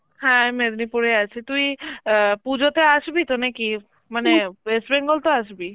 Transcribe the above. হ্যাঁ এই মেদিনীপুরে আছি, তুই আ পুজোতে আসবি তো নাকি? মানে West Bengal তো আসবি?